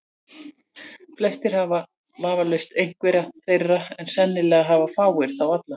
Flestir hafa vafalaust einhverja þeirra, en sennilega hafa fáir þá alla.